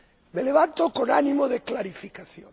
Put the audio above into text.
Me levanto con ánimo de clarificación.